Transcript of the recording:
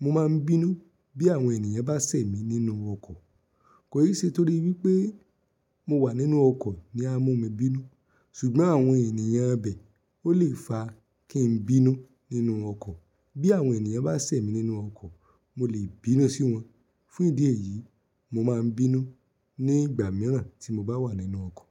Mo máa ń bínú bí àwọn ènìyàn bá ṣẹ̀ mí nínú ọkọ̀. Kò í ṣe torí wípé mo wà nínú ọkọ̀ ni á mú mi bínú, ṣùgbọ́n àwọn ènìyàn bẹ̀, ó lè fa kí n bínú nínú ọkọ̀. Bí àwọn ènìyàn bá ṣẹ̀ mí nínú ọkọ̀, mo lè bínú sí wọn. Fún ìdí èyí, mo máa ń bínú nígbà mìíràn tí mo bá wà nínú ọkọ̀